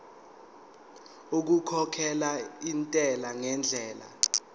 okukhokhela intela ngendlela